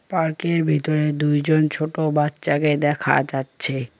পার্কের ভেতরে দুইজন ছোট বাচ্চাকে দেখা যাচ্ছে।